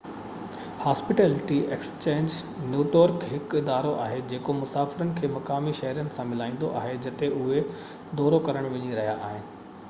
hospitality exchange network هڪ ادارو آهي جيڪو مسافرن کي مقامي شهرين سان ملائيندو آهي جتي اهي دورو ڪرڻ وڃي رهيا آهن